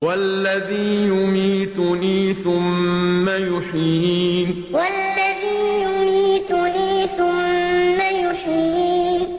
وَالَّذِي يُمِيتُنِي ثُمَّ يُحْيِينِ وَالَّذِي يُمِيتُنِي ثُمَّ يُحْيِينِ